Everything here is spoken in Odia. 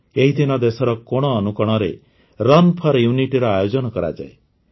ଏହିଦିନ ଦେଶର କୋଣ ଅନୁକୋଣରେ ରନ୍ ଫୋର ୟୁନିଟି ଆୟୋଜନ କରାଯାଏ